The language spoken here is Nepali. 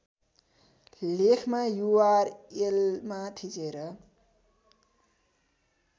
लेखमा युआरएलमा थिचेर